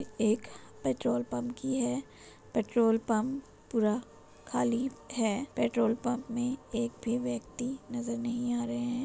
एक petrol pump की है पेट्रोल पंप पूरा खाली है पेट्रोल पंप में एक भी व्यक्ति नजर नहीं आ रहे हैं।